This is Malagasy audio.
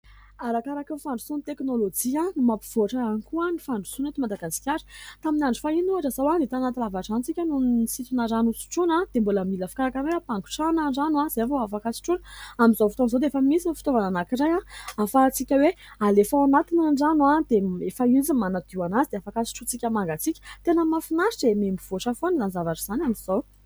Arakaraka ny fandrosoan'ny teknolojia no mampivoatra ihany koa ny fandrosoana eto Madagasikara. Tamin'ny andro fahiny ohatra izao tanaty lavadrano isika no nisintona rano ho sotroina dia mbola mila fikarakarana hoe ampangotrahana ny rano izay vao afaka sotroina. Amin'izao fotoan'izao dia efa misy ny fitaovana anankiray ahafahan- tsika hoe : alefa ao anatiny ny rano, dia efa izy no manadio azy dia afaka sotrointsika mangatsiaka. Tena mahafinaritra e ! Miha mivoatra foana izany zavatra izany amin'izao.